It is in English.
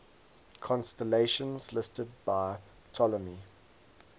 constellations listed by ptolemy